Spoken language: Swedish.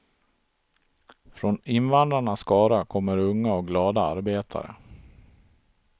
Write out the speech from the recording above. Från invandrarnas skara kommer unga och glada arbetare.